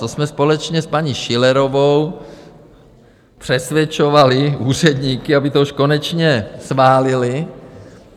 To jsme společně s paní Schillerovou přesvědčovali úředníky, aby to už konečně schválili.